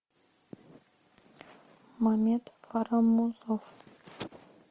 мамед фарамузов